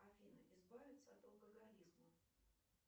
афина избавиться от алкоголизма